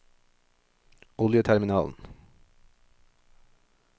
oljeterminalen